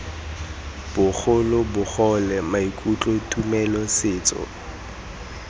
bogolo bogole maikutlo tumelo setso